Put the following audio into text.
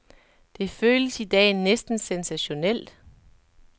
Det føles i dag næsten sensationelt.